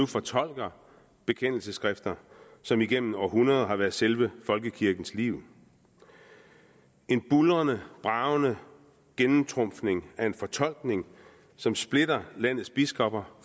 fortolker bekendelsesskrifter som igennem århundreder har været selve folkekirkens liv en buldrende bragende gennemtrumfning af en fortolkning som splitter landets biskopper